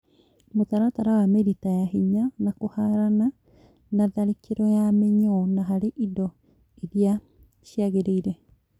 mũtaratara wa mĩrita ya hinya, na kũharana na tharĩkĩro ya mĩnyoo no harĩ indo iria ciagĩrĩire